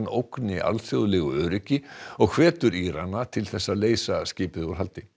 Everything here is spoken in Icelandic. ógni alþjóðlegu öryggi og hvetur Írana til þess að leysa skipið úr haldi